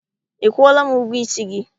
Ị kwụọla m ụgwọ isi gị?